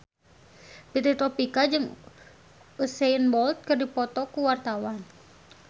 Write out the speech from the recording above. Fitri Tropika jeung Usain Bolt keur dipoto ku wartawan